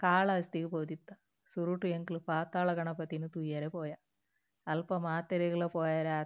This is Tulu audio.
ಕಾಳಹಸ್ತಿಗ್ ಪೋದಿತ್ತ ಸುರುಟ್ ಎಂಕುಲು ಪಾತಾಳ ಗಣಪತಿನ್ ತೂಯೆರೆ ಪೋಯ ಅಲ್ಪ ಮಾತೆರಗ್ಲಾ ಪೋಯೆರೆ ಆತಿಜಿ.